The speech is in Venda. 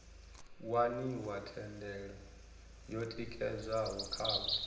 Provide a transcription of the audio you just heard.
waniwa thendelo yo tikedzwaho khavho